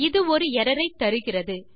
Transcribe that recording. இது ஒரு எர்ரர் ஐ தருகிறது